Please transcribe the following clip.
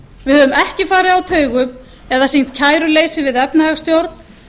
við höfum ekki farið á taugum eða sýnt kæruleysi við efnahagsstjórn